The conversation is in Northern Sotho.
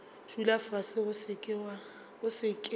dula fase o se ke